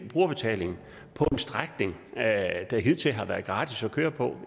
brugerbetaling på en strækning der hidtil har været gratis at køre på